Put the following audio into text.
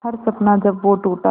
हर सपना जब वो टूटा